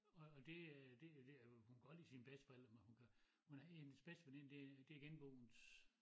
Og og det øh det øh hun kan godt lide sine bedsteforældre men hun kan hun har en hendes bedste veninde det det er genboens